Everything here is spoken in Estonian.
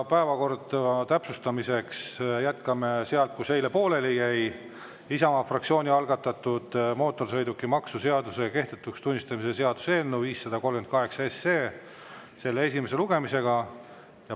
Täpsustan, et päevakorda jätkame sealt, kus eile pooleli jäi: Isamaa fraktsiooni algatatud mootorsõidukimaksu seaduse kehtetuks tunnistamise seaduse eelnõu 538 esimese lugemisega.